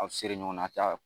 A bɛ sere ɲɔgɔn na cogo